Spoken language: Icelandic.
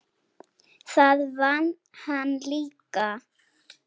Það vann hann líka.